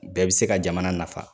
Bɛɛ bi se ka jamana nafa .